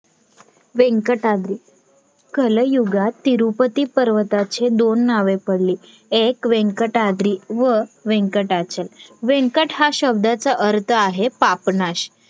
व्यंकटागिरि, कलयुगात तिरुपति पर्वताचे दोन नावे पडली एक व्यंकटागिरी आणि एक व्यंकटाचल व्यंकट हा शब्दाचा अर्थ आहे पापनाश